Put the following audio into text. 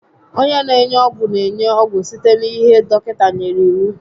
Onye n'enye ọgwụ n'enye ọgwụ site n'ihe dọkịta nyèrè n'iwu